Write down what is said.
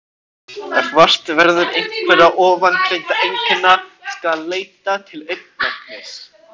Ef vart verður einhverra ofangreindra einkenna skal leita til augnlæknis.